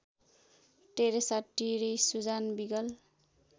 Teresa Terry Susan wiggle